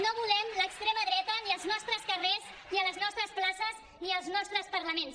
no volem l’extrema dreta ni als nostres carrers ni a les nostres places ni als nostres parlaments